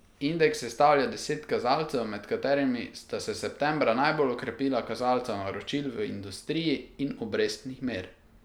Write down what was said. Indeks sestavlja deset kazalcev, med katerimi sta se septembra najbolj okrepila kazalca naročil v industriji in obrestnih mer.